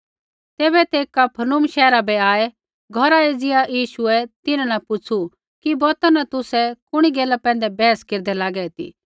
तैबै तै कफरनहूम शैहरा बै आऐ घौरा एज़िया यीशुऐ तिन्हां न पुछ़ू कि बौता न तुसै कुणी गैला पैंधै बैहस केरदै लागे ती